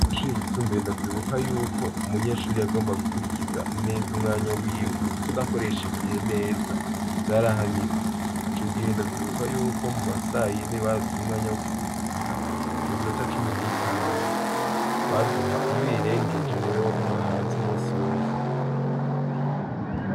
Ku mashuri yisumbuye ndavyibuka neza yuko umunyeshuri yagomba gukurikiza neza umwanya wiwe kuko udakoresha igihe neza vyarahanirwa ico gihe ndavyibuka yuko muma saa yine baraduha umwanya wo kuruhuka iyo minota cumi n'itanu baduha iyo uyirengeje waguma hanze umunsi wose.